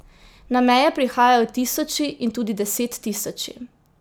Na meje prihajajo tisoči in tudi desettisoči.